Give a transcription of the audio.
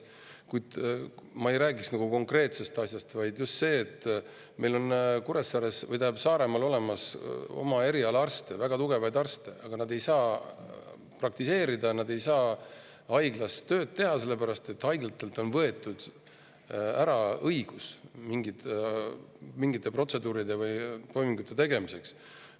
Kuid ma ei räägi ainult konkreetsest, vaid sellest, et meil on Saaremaal väga tugevaid oma eriala arste, aga nad ei saa praktiseerida, nad ei saa haiglas tööd teha, sellepärast et haiglalt on võetud ära õigus mingite protseduuride või toimingute tegemiseks.